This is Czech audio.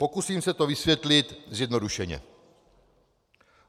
Pokusím se to vysvětlit zjednodušeně.